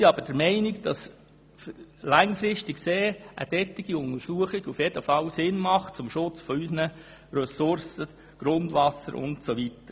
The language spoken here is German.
Wir sind der Meinung, dass solche Untersuchungen langfristig für den Schutz unserer Ressource Grundwasser sicher sinnvoll sind.